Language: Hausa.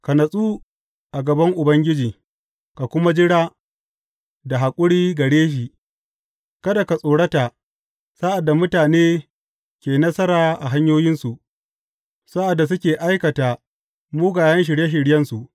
Ka natsu a gaban Ubangiji ka kuma jira da haƙuri gare shi; kada ka tsorata sa’ad da mutane ke nasara a hanyoyinsu, sa’ad da suke aikata mugayen shirye shiryensu.